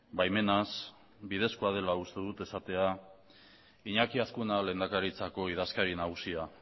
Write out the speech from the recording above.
baimenaz bidezkoa dela uste dut esatea iñaki azkuna lehendakaritzako idazkari nagusia